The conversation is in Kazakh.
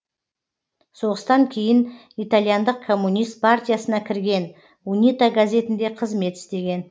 соғыстан кейін итальяндық коммунист партиясына кірген унита газетінде қызмет істеген